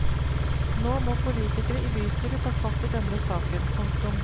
Nå må politikere i bystyret ta fatt i denne saken. punktum